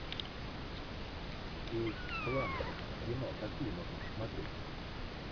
кейт бланшетт кино какие можно посмотреть